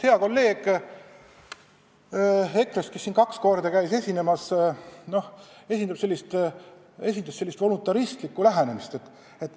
Hea kolleeg EKRE-st, kes siin kaks korda käis esinemas, esindas just sellist voluntaristlikku lähenemist.